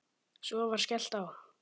Svo var skellt á.